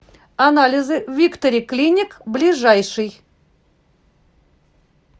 анализы виктори клиник ближайший